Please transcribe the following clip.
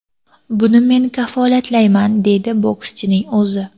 Buni men kafolatlayman”, deydi bokschining o‘zi.